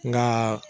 Nka